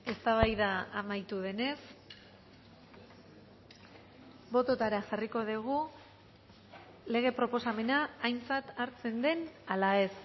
eztabaida amaitu denez bototara jarriko dugu lege proposamena aintzat hartzen den ala ez